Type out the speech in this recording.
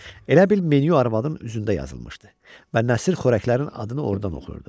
Elə bil menyu arvadın üzündə yazılmışdı və Nəsir xörəklərin adını ordan oxuyurdu.